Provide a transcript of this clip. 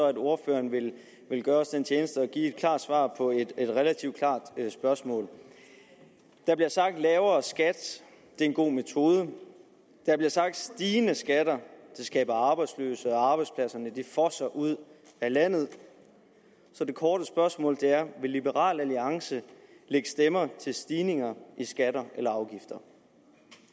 at ordføreren vil gøre os den tjeneste at give et klart svar på et relativt klart spørgsmål der bliver sagt at lavere skat er en god metode der bliver sagt at stigende skatter skaber arbejdsløse og at arbejdspladserne fosser ud af landet så det korte spørgsmål er vil liberal alliance lægge stemmer til stigninger i skatter eller afgifter